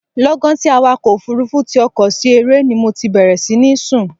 Lọ́gán tí awakọ̀ òfurufu ti ọkọ̀ sí eré ni mo ti bẹ̀rẹ̀ sí ní sùn.